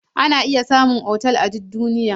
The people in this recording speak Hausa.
Ana iya samun otal a duk duniya.